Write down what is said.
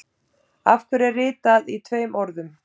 Af hverju er ritað í tveimur orðum.